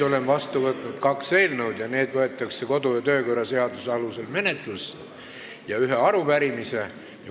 Olen vastu võtnud kaks eelnõu, mis võetakse menetlusse kodu- ja töökorra seaduse alusel, ja ühe arupärimise.